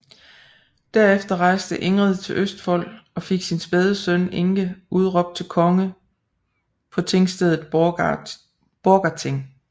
Derefter rejste Ingrid til Østfold og fik sin spæde søn Inge udråbt til konge på tingstedet Borgarting